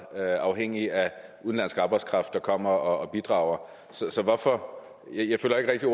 afhængig af udenlandsk arbejdskraft der kommer og bidrager så hvorfor og jeg føler ikke